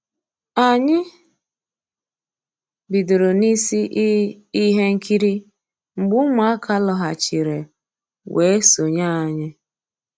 Ànyị́ bidoro n'ísí i íhé nkírí mgbé Ụmụ́àká lọ́ghàchíré weé sonyéé ànyị́.